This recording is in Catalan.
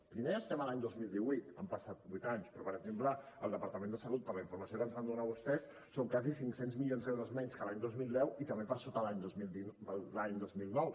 primer estem a l’any dos mil divuit han passat vuit anys però per exemple el departament de salut per la informació que ens van donar vostès són gairebé cinc cents milions d’euros menys que l’any dos mil deu i també per sota de l’any dos mil nou